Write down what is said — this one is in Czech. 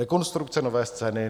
Rekonstrukce Nové scény